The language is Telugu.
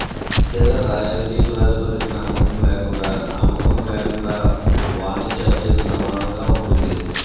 స్థిర రాయల్టీ ప్రాతిపదికన అమ్మకం లేకుండా అమ్మకం లేకుండా వాణిజ్య అద్దెకు సమానంగా ఉంటుంది